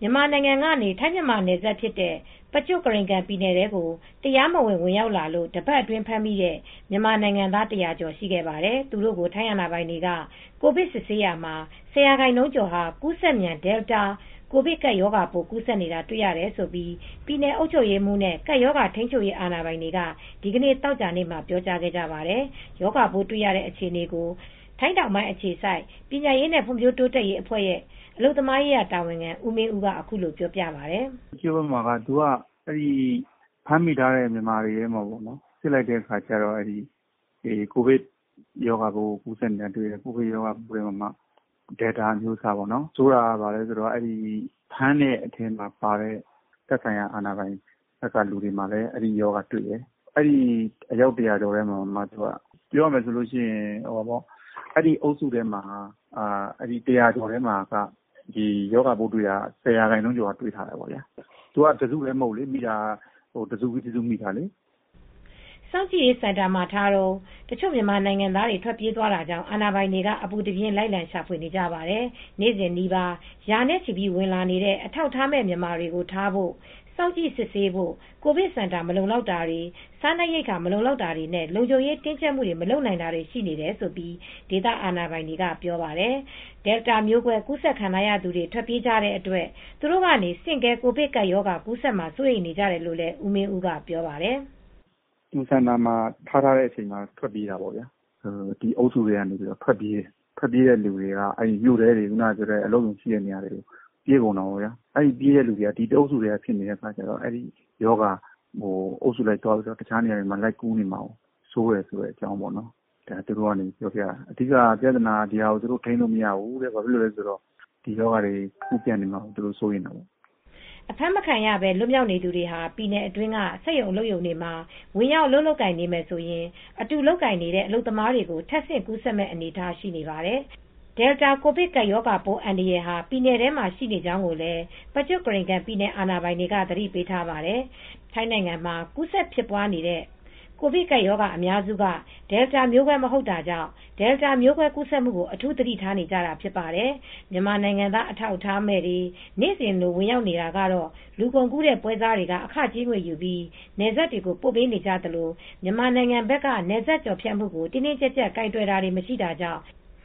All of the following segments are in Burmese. မြန်မာနိုင်ငံကနေ ထိုင်း-မြန်မာနယ်စပ် Prachuap Khiri Khan ပြည်နယ်ထဲကို တရားမဝင် ဝင်ရောက်သူတွေထဲက တပတ်အတွင်းဖမ်းမိသူတွေကို ထိုင်းအာဏာပိုင်တွေက ကိုဗစ်ဆေးစစ်ရာမှာ ၁၀% ကျော်ဟာ ကူးစက်မြန် Delta ကိုဗစ်ကပ်ရောဂါပိုး ကူးစက်နေတာ တေ့ွရတယ်လို့ ပြည်နယ်အုပ်ချုပ်ရေးနဲ့ ကပ်ရောဂါထိန်းချုပ်ရေးအာဏာပိုင်တွေက ဒီနေ့ သောကြာနေ့မှာ ပြောတာပါ။ ရောဂါပိုးတွေ့နေတဲ့ အခြေအနေကို ထိုင်းတောင်ပိုင်းအခြေစိုက် ပညာရေးနဲ့ ဖွံ့ဖြိုးတိုးတက်ရေးအဖွဲ့ရဲ့ အလုပ်သမားရေးရာတာဝန်ခံ ဦးမင်းဦးကပြောပါတယ်။ "Prachuap Khiri Khan ဘက်မှာက ဖမ်းမိထားတဲ့မြန်မာတွေကို စစ်လိုက်တဲ့အခါ ကိုဗစ်ရောဂါကူးစက်နေတာတွေတယ် တွေ တဲ့နေရာမှာ Delta မျိုးကွဲ အမျိုးအစားတွေ တယ် ဆိုးတာက ဖမ်းတဲ့အထဲမှာပါတဲ့ သက်ဆိုင်ရာအာဏာပိုင်ထဲမှာလည်း အဲဒီ ရောဂါတွေ့တယ်။ အဲဒီ အယောက် ၁၀၀ ကျော်ထဲမှာ အဲဒီအုပ်စုထဲမှာရောဂါပိုးတွေ့တာက ၁၀% ကျော်ကတွေ့တယ်။ တစုတည်းမဟုတ်ဘူး။ မိတာက တစုပြီးတစု မိတာ။" စောင့်ကြည့်ရေးစင်တင်မှာထားတုန်း တချို့ မြန်မာနိုင်ငံသားတွေ ထွက်ပြေးသွားတာကြောင့် အာဏာပိုင်တွေက အပူတပြင်း လိုက်ရှာနေပါတယ်။ နေ့စဉ်နီးပါး ရာနဲ့ချီပြီး ဝင်လာနေတဲ့ အထောက်အထားမဲ့ မြန်မာတွေကို ထားဖို့၊ စောင့်ကြည့်စစ်ဆေးဖို့၊ ကိုဗစ်စင် တာ မလုံလောက်တာ၊ စားနပ်ရိက္ခာမလုံလောက်တာနဲ့ လုံခြုံရေးကို တင်းတင်းကြပ်ကြပ် မလုပ်နိုင်တွေရှိနေတယ် လို့ ဒေသအာဏာပိုင်တွေက ပြောပါတယ်။ Delta မျိုးကွဲ ကူးစက်ခံထားရသူတွေ ထွက်ပြေးကြတဲ့အတွက် သူတို့ ကနေ ဆင့်ကဲ ကိုဗစ်ကပ်ရောဂါ ကူးစက်မှာ စိုးရိမ်နေကြတယ်လို့ ဦးမင်းဦးက ပြောပြပါတယ်။ "စောင့်ကြည့်ရေးစင်တာမှာ ထားတဲ့အချိန်မှာ ထွက်ပြေးကြတာ။ ထွက်ပြေးတဲ့လူတွေက မြို့ထဲတွေ အလုပ်ရုံတွေ ရှိတဲ့နေရာတွေကို ထွက်ပြေးကြတာ။ ပြေးတဲ့သူတွေက တအုပ်စုထဲဖြစ်နေလို့။ ရောဂါက အုပ်စုလိုက်သွားပြီး တခြားနေရာတွေမှာ ပြေးနေမှာကိုစိုးရိမ်တယ်။ သူတို့ပြောတာက အဓိက ပြဿနာ ရောဂါထိန်းမရဘဲ ကူးစက်ပြန့်ပွားလာမှာကို စိုးရိမ်တယ်လို့ပြောတယ်။" အဖမ်းမခံရဘဲ လွတ်မြောက်နေသူတွေဟာ ပြည်နယ်အတွင်းက စက်ရုံအလုပ်ရုံတွေမှာ ဝင်ရောက်လုပ်ကိုင်နေတယ် ဆိုရင် အတူလုပ်ကိုင်နေကြတဲ့ အလုပ်သမားကို ထပ်ဆင့်ကူးစက်မယ့် အနေအထားဖြစ်နေပါတယ်။ ပြည်နယ်တွင်းမှာ Delta ကိုဗစ်ကပ်ရောဂါပိုးအန္တရာယ် ရှိနေကြောင်းကိုလည်း Prachuap Khiri Khan ပြည်နယ်အာဏာပိုင်တွေက သတိပေးထားပါတယ်။ ထိုင်းနိုင်ငံမှာ ကူးစက်ဖြစ်ပွားနေတဲ့ ကိုဗစ်ကပ်ရောဂါအများစုက Delta မျိုးကွဲ မဟုတ်တာကြောင့် Deltaမျိုးကွဲကူးစက်မှုကို အထူးသတိထားနေကြတာပါ။ မြန်မာနိုင်ငံသား အထောက်အထားမဲ့တွေ နေ့စဉ်လို ဝင်ရောက်လာနေတာကတော့လူကုန်ကူးပွဲစားတွေက အခကြေးငွေယူပြီး နယ်စပ်တွေကို ပို့ပေးနေကြသလို မြန်မာနိုင်ငံဘက်က နယ်စပ်ကျော်ဖြတ်မှုကို တင်းတင်းကြပ်ကြပ်ကိုင်တွယ်တာ မရှိတာကြောင့်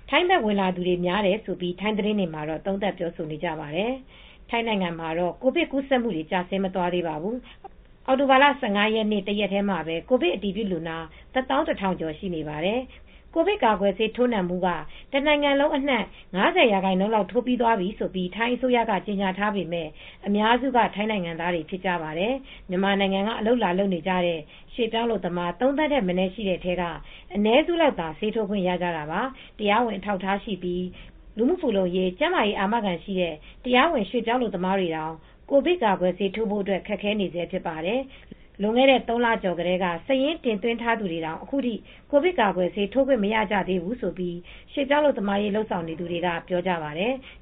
ထိုင်းဘက် ဝင်လာသူတွေများတယ်လို့ ထိုင်းသတင်းတွေမှာ သုံးသပ်ပြောဆိုကြပါတယ်။ ထိုင်းနိုင်ငံမှာတော့ ကိုဗစ်ကူးစက်မူတွေက ကျဆင်းမသွားသေးပါဘူး။ အောက်တိုဘာလ ၁၅ ရက်မှာ ကိုဗစ်အတည်ပြုလူနာ ၁၁,၀၀၀ ကျော် ရှိပါတယ်။ နိုင်ငံတဝန်း ကိုဗစ်ကာကွယ်ဆေးထိုးပြီးသူ ၅၀% လောက်ရှိပြီလို့ ထိုင်းအစိုးရက ကြေညာထားပေမဲ့ အများစုက ထိုင်းနိုင်ငံသားတွေဖြစ်ပါတယ်။ မြန်မာနိုင်ငံကနေ အလုပ်လာလုပ်နေကြတဲ့ ရွှေ့ပြောင်းအလုပ်သမား ၃ သန်းထက်မနည်း ရှိတဲ့ထဲက အနည်းစုလောက်သာ ဆေးထိုးခွင့်ရပါသေးတယ်။တရားဝင်အထောက်အထားရှိပြီး လူမှုဖူလုံရေး၊ ကျန်းမာရေးအာမခံရှိတဲ့ တရားဝင် ရွှေ့ပြောင်းအလုပ်သမားတွေတောင် ကာကွယ်ဆေးထိုးခွင့်ရဖို့ ခက်ခဲနေဆဲဖြစ်ပါတယ်။ လွန်ခဲ့တဲ့ ၃ လကျော်ကတည်းက စာရင်းတင်သွင်းထားသူတွေတောင် အခုထိ ကိုဗစ်ကာကွယ်ဆေး ထိုးခွင့်မရကြသေးဘူးလို့ ရွှေ့ပြောင်းအလုပ်သမားရေး လုပ်ဆောင်နေသူတွေက ပြောပါတယ်။